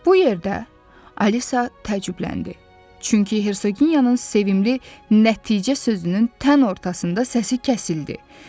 Bu yerdə Alisa təəccübləndi, çünki Hersoqinyanın sevimli nəticə sözünün tən ortasında səsi kəsildi.